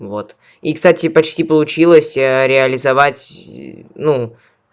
вот и кстати почти получилось реализовать ну